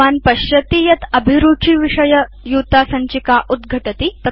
भवान् पश्यति यत् अभिरुचि विषय युतासञ्चिका उद्घटति